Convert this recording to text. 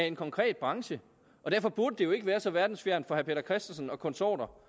en konkret branche og derfor burde det jo ikke være så verdensfjernt for herre peter christensen og konsorter